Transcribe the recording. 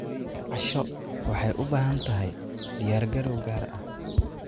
Casho waxay u baahan tahay diyaargarow gaar ah.